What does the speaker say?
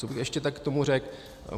Co bych tak ještě k tomu řekl?